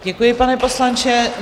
Děkuji, pane poslanče.